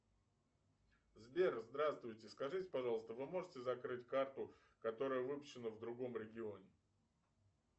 сбер здравствуйте скажите пожалуйста вы можете закрыть карту которая выпущена в другом регионе